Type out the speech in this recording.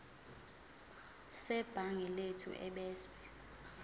sebhangi lethu ebese